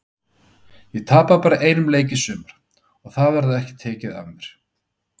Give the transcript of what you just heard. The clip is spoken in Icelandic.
Ég tapaði bara einum leik í sumar og það verður ekki tekið af mér.